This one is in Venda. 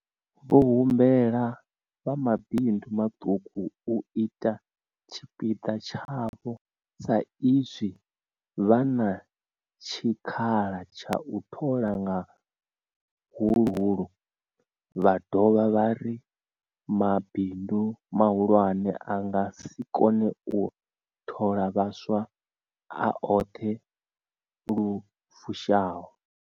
Vho humbela vha mabindu maṱuku u ita tshipiḓa tshavho sa izwi vha na tshikhala tsha u thola nga huhulu, vha dovha vha ri mabindu mahulwane a nga si kone u thola vhaswa a oṱhe lu fushaho.